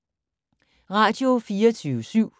Radio24syv